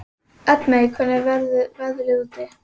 Eldmey, hvernig er veðrið úti?